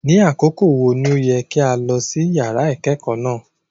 Ni akoko wo ni o yẹ ki a lọ si yara ikẹkọ náa?